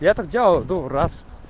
я так делал ну раз